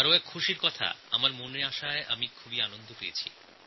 আর একটি খুশির খবর আমার মনে আসাতে খুব আনন্দ হয়েছে